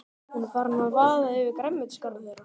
Hún er farin að vaða yfir grænmetisgarðinn þeirra.